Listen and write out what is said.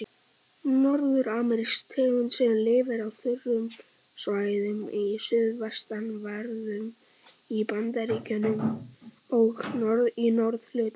Norður-amerísk tegund sem lifir á þurrum svæðum í suðvestanverðum Bandaríkjunum og í norðurhluta Mexíkó.